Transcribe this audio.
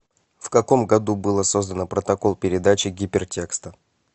в каком году было создано протокол передачи гипертекста